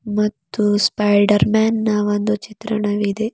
ಮತ್ತು spider man ನ ಒಂದು ಚಿತ್ರಣವಿದೆ.